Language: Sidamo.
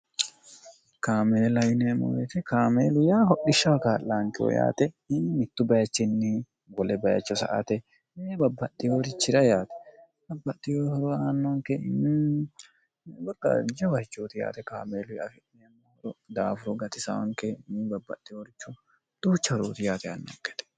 kaameelayineemoete kaameelu yaa hodhishsha hakaaxlaankiwo yaate in mittu bayichinni gole bayicho sa ate e babbaxi worichira yaate abbaihohoro aannonkeingorqaajje wacooti yaate kaameeluy afi'neemmohoro daafuro gatisaonke ni babbaxi horcho duucha horooti yaate aannonkete